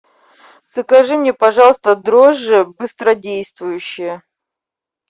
закажи мне пожалуйста дрожжи быстродействующие